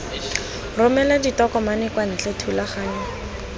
romela ditokomane kwa ntle thulaganyo